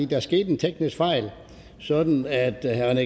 der skete en teknisk fejl sådan at herre